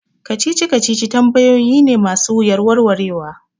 Kacici kacici tambayoyi ne ma su wuyar warwarewa